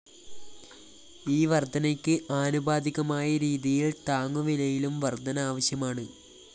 ഈ വര്‍ധനയ്ക്ക് ആനുപാതികമായ രീതിയില്‍ താങ്ങു വിലയിലും വര്‍ധന ആവശ്യമാണ്